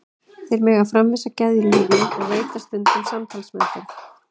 Þeir mega framvísa geðlyfjum og veita stundum samtalsmeðferð.